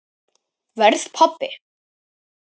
Verð pabbi.